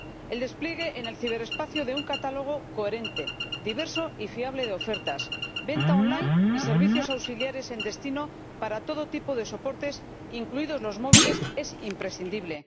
El despliegue en el ciberespacio de un catálogo coherente, diverso y fiable de ofertas, venta on line y servicios auxiliares en destino para todo tipo de soportes, incluidos los móviles, es imprescindible.